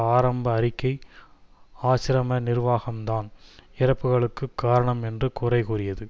ஆரம்ப அறிக்கை ஆசிரம நிர்வாகம்தான் இறப்புக்களுக்கு காரணம் என்று குறைகூறியது